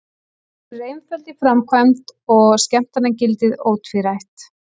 Hún er einföld í framkvæmd og skemmtanagildið ótvírætt.